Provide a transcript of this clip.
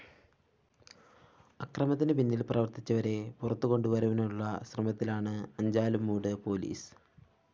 അക്രമത്തിന് പിന്നീല്‍ പ്രവര്‍ത്തിച്ചവരെ പുറത്തുകൊണ്ടു വരാനുള്ള ശ്രമത്തിലാണ് അഞ്ചാലുംമൂട് പോലീസ്